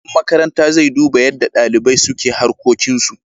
Shugaban makaranta zai duba yadda dalibai suka harkokin su.